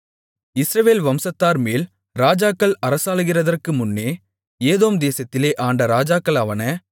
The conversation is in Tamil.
இஸ்ரவேல் வம்சத்தார்மேல் ராஜாக்கள் அரசாளுகிறதற்கு முன்னே ஏதோம் தேசத்திலே ஆண்ட ராஜாக்களாவன